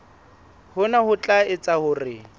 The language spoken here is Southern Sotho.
hona ho tla etsa hore